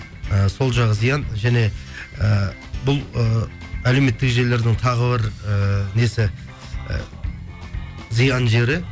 і сол жағы зиян және і бұл ы әлеуметтік желілердің тағы бір ііі несі і зиян жері